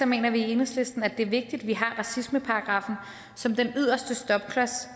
mener vi i enhedslisten det er vigtigt at vi har racismeparagraffen som den yderste stopklods